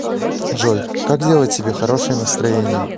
джой как сделать себе хорошее настроение